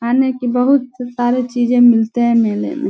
खाने की बहुत सारे चीज़े मिलते हैं मेले में।